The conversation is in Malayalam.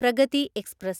പ്രഗതി എക്സ്പ്രസ്